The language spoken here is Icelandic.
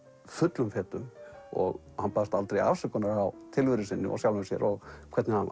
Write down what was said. fullum fetum og hann baðst aldrei afsökunar á tilveru sinni og sjálfum sér og hvernig hann